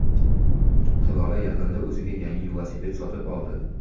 Hilola yaqinda o‘ziga yangi velosiped sotib oldi.